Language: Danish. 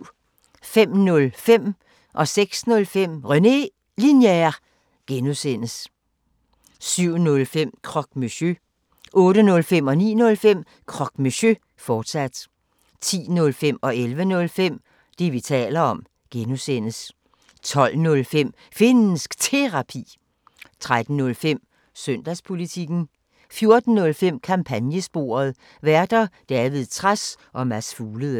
05:05: René Linjer (G) 06:05: René Linjer (G) 07:05: Croque Monsieur 08:05: Croque Monsieur, fortsat 09:05: Croque Monsieur, fortsat 10:05: Det, vi taler om (G) 11:05: Det, vi taler om (G) 12:05: Finnsk Terapi 13:05: Søndagspolitikken 14:05: Kampagnesporet: Værter: David Trads og Mads Fuglede